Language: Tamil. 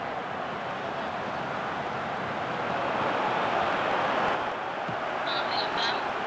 ah hello ma'am